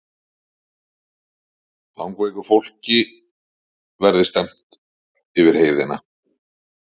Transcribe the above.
Langveiku fólki verði stefnt yfir heiðina